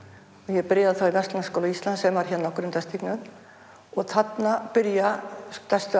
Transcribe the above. ég byrjaði þá í Verzlunarskóla Íslands sem var hérna á Grundastígnum og þarna byrja stærstu